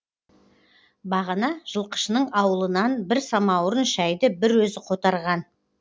бағана жылқышының ауылынан бір самауырын шәйді бір өзі қотарған